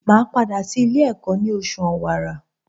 Màá padà sí Ilé ẹ̀kọ́ ní osù Òwàrà